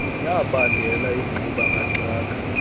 yabangela ingxuba kaxaka